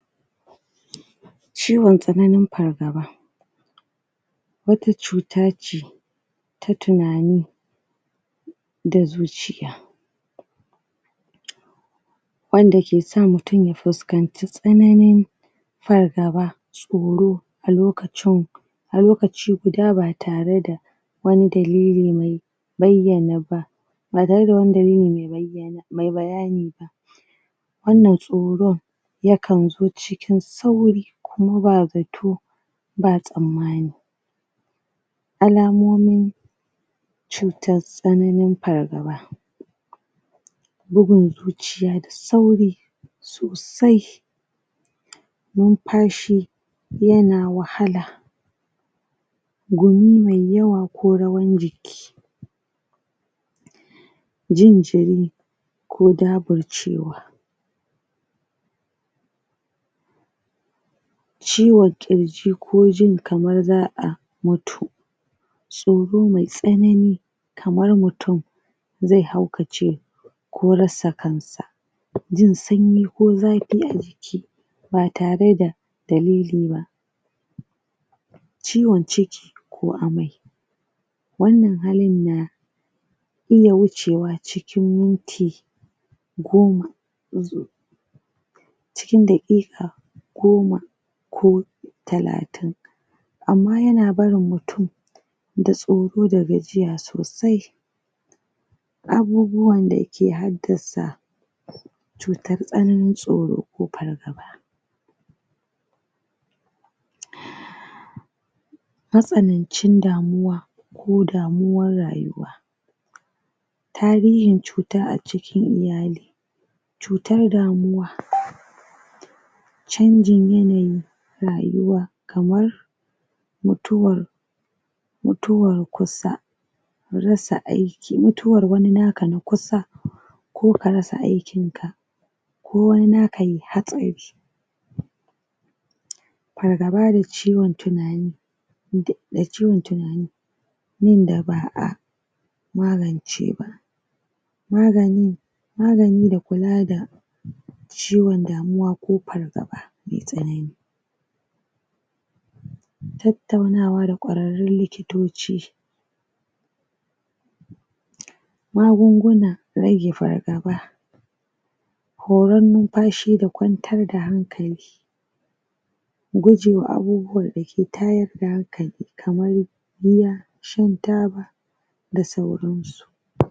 Ciwon tsanani pargaba wata cuta ce ta tunani da zuciya wanda ke sa mutum ya fuskanci tsananin fargaba tsoro a lokaci guda ba tare da wani dalili mai ba tare da bayani ba wannan tsoro ya kan zo cikin sauri kuma ba zatto ba tsammani alamomin cutar tsananin fargaba bugun zuciya da sauri sosai numpashi yana wahala gumi mai yawa ko rawan jiki jin jiri ko daburcewa ciwon ƙirji ko jin kamar za'a mutu tsoro mai tsanani kamar mutum zai mutu ko zai haukace jin sanyi ko zapi a jiki ba tare da dalili ba ciwon ciki ko amai wannan halin na iya wucewa cikin minti goma cikin daƙika goma ko talatin amma yana barin mutum da tsoro da gajiya sosai abubuwan da ke haddasa cutar tsananin tsoro ko pargaba matsanancin damuwa ko damuwan rayuwa tarihin cuta a cikin iyali cutar rayuwa canji ne na rayuwa kamar mutuwar kusa rasa aiki, mutuwar wani naka na kusa ko ka rasa aikin ka ko wani naka yayi hatsari pargaba da ciwon tunani, ciwon tunani wanda ba'a magance ba magani da kula da ciwon damuwa ko fargaba mai tsanani tattaunawa da ƙwararrun likitoci magungunan rage fargaba huran numpashi da kwantar da hankali gujewa abubuwan da ke tayar da hakan kamar giya shan taba da sauran su.